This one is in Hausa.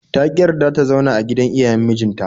Ta ƙi yarda ta zauna a gidan iyayen mijin ta